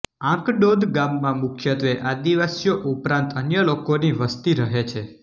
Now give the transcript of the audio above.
આંકડોદ ગામમાં મુખ્યત્વે આદિવાસીઓ ઉપરાંત અન્ય લોકોની વસ્તી રહે છે